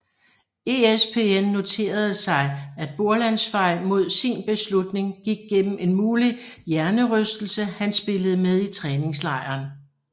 ESPN noterede sig at Borlands vej mod sin beslutning gik gennem en mulig hjernerystelse han spillede med i træningslejren